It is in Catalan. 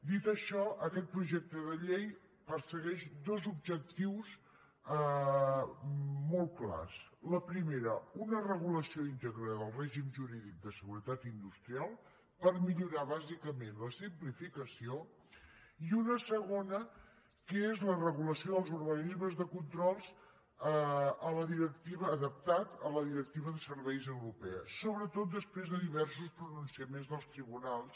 dit això aquest projecte de llei persegueix dos objectius molt clars el primer una regulació íntegra del règim jurídic de seguretat industrial per millorar bàsicament la simplificació i un segon que és la regulació dels organismes de control adaptada a la directiva de serveis europea sobretot després de diversos pronunciaments dels tribunals